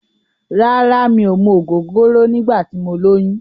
Rárá, mi ò mu ògógóró nígbà tí mo lóyún.